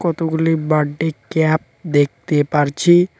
কতগুলি birthday cap দেখতে পারছি।